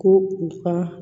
Ko u ka